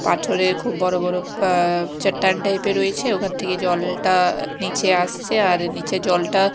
পাথরের খুব বড় বড় অ্যা চট্টান টাইপ -এর রয়েছে ওখান থেকে জলটা নীচে আসছে আর নীচে জলটা--